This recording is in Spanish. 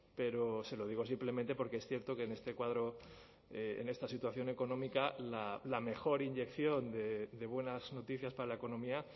pero se lo digo simplemente porque es cierto que en este cuadro en esta situación económica la mejor inyección de buenas noticias para la economía